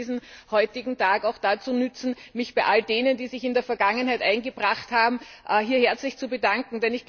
Ich möchte diesen heutigen Tag auch dazu nutzen, mich bei all jenen, die sich in der Vergangenheit eingebracht haben, hier herzlich zu bedanken.